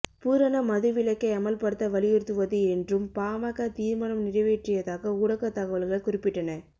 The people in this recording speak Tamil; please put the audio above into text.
பூரண மதுவிலக்கை அமல்படுத்த வலியுறுத்துவது என்றும் பாமக தீர்மானம் நிறைவேற்றியதாக ஊடகத் தகவல்கள் குறிப்பிட்டன